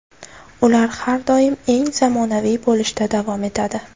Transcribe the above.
Ular har doim eng zamonaviy bo‘lishda davom etadi.